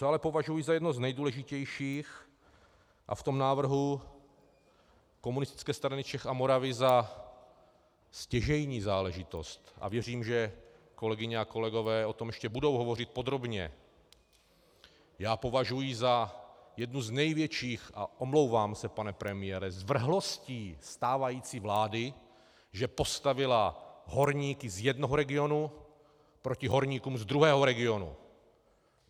Co ale považuji za jedno z nejdůležitějších, a v tom návrhu Komunistické strany Čech a Moravy za stěžejní záležitost, a věřím, že kolegyně a kolegové o tom ještě budou hovořit podrobně, já považuji za jednu z největších, a omlouvám se, pane premiére, zvrhlostí stávající vlády, že postavila horníky z jednoho regionu proti horníkům z druhého regionu.